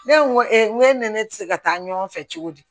Ne ko n ko e ni ne tɛ se ka taa ɲɔgɔn fɛ cogo di